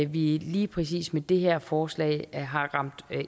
vi lige præcis med det her forslag har ramt